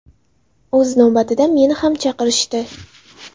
O‘z navbatida meni ham chaqirishdi.